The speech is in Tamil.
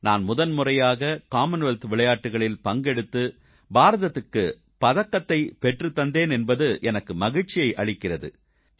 நான் முதன்முறையாக காமன்வெல்த் விளையாட்டுகளில் பங்கெடுத்து பாரதத்துக்கு பதக்கத்தைப் பெற்றுத் தந்தேன் என்பது எனக்கு மகிழ்ச்சியை அளிக்கிறது